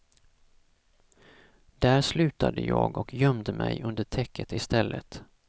Där slutade jag och gömde mig under täcket istället.